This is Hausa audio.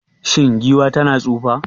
Shin giwa tana tsufa?